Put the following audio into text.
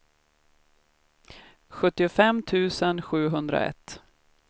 sjuttiofem tusen sjuhundraett